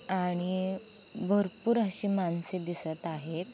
आणि भरपूर अशी माणसे दिसत आहेत.